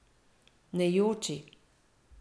Ne joči.